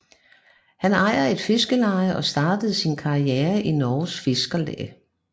Han ejer et fiskerleje og startede sin karriere i Norges Fiskarlag